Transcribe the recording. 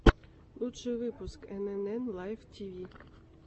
лучший выпуск энэнэн лайф тиви